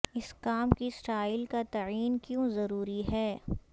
اس کام کی سٹائل کا تعین کیوں ضروری ہے